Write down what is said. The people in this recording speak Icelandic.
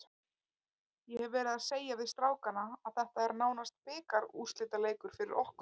Ég hef verið að segja við strákana að þetta er nánast bikarúrslitaleikur fyrir okkur.